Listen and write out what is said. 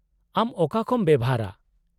-ᱟᱢ ᱚᱠᱟᱠᱚᱢ ᱵᱮᱣᱦᱟᱨᱟ ?